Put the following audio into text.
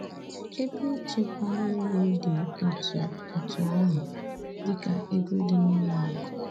Ebe ịchekwa mmiri dị otú otú ahụ dịka ego dị n’ụlọ akụ̀.